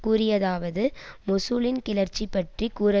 கூறியதாவது மொசூலின் கிளர்ச்சி பற்றி கூற